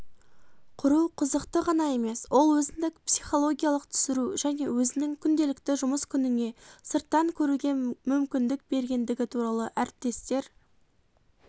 құру қызықты ғана емес ол өзіндік психологиялық түсіру және өзінің күнделікті жұмыс күніңе сырттан көруге мүмкіндік бергендігі туралы әріптестер